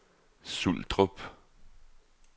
Suldrup